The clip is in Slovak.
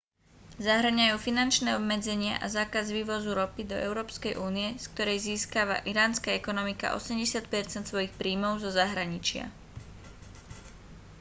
zahŕňajú finančné obmedzenia a zákaz vývozu ropy do európskej únie z ktorej získava iránska ekonomika 80 % svojich príjmov zo zahraničia